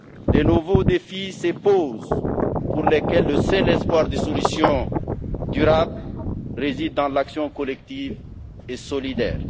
De nouveaux défis se posent, pour lesquels le seul espoir de solution durable réside dans l'action collective et solidaire.